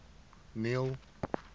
neil